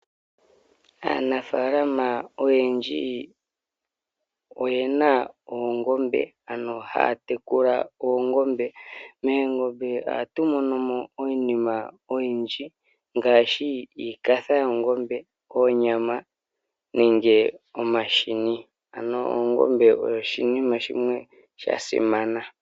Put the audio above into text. Aanafalama oyendji oyena oongombe ano haya tekula oongombe. Moongombe ohatu monomo iinima oyindji ngaashi iikatha yoongombe, oonyama nenge omahini ano ongombe oshinima shimwe shasimana.